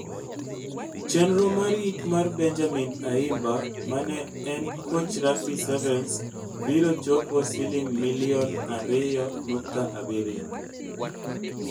Chenro mar yik mar Benjamin Ayimba ma ne en koch rugby sevens biro chupo siling milion 2.7.